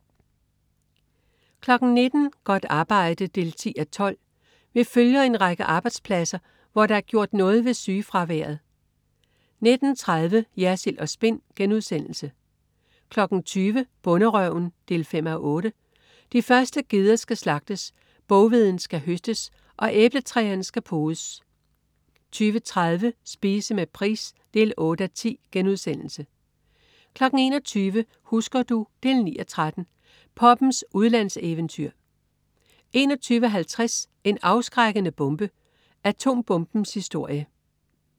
19.00 Godt arbejde 10:12. Vi følger en række arbejdspladser, hvor der er gjort noget ved sygefraværet 19.30 Jersild & Spin* 20.00 Bonderøven 5:8. De første geder skal slagtes, boghveden skal høstes og æbletræerne skal podes 20.30 Spise med Price 8:10* 21.00 Husker du? 9:13 Poppens udlandseventyr 21.50 En afskrækkende bombe. Atombombens historie